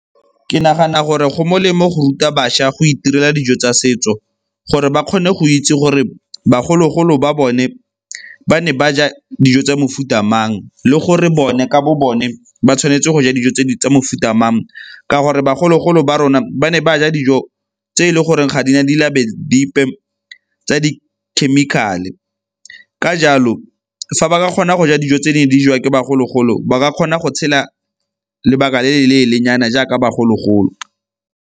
Ke nagana gore go molemo go ruta bašwa go itirela dijo tsa setso, gore ba kgone go itse gore bagolo-golo ba bone ba ne ba ja dijo tsa mofuta mang le gore bone ka bo bone ba tshwanetse go ja dijo tse di mofuta mang ka gore bagolo-golo ba rona ba ne ba ja dijo tse e leng gore ga di na di dipe tsa di-chemical-e. Ka jalo fa ba ka kgona go ja dijo tse ne di jewa ke bagolo-golo ba ka kgona go tshela lebaka le le leele nyana jaaka bagolo-golo.